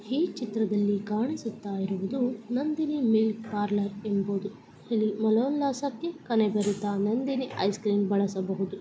ಈ ಚಿತ್ರದಲ್ಲಿ ಕಾಣಿಸುತ್ತ ಇರುವುದು ನಂದಿನಿ ಮಿಲ್ಕ್ ಪಾರ್ಲರ್ ಎಂಬುದು ಇಲ್ಲಿ ಮನಉಲ್ಲಾಸಕ್ಕೆ ಕೆನೆ ಬರಿತ ನಂದಿನಿ ಐಸ್ ಕ್ರೀಮ್ ಬಳಸಬಹುದು .